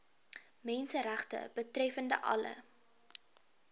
menseregte betreffende alle